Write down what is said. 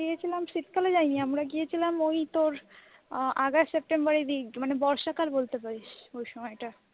গিয়েছিলাম শীতকালে যায়নি আমরা তোর গিয়েছিলাম তোর ঐ অগাস্ট সেপ্টেম্বরের দিক বর্ষাকাল বলতে পারি সে সময়টা,